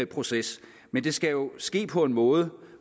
processer men det skal jo ske på en måde